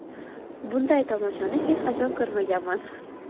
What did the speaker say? Bunday tomoshani hech qachon ko‘rmaganman.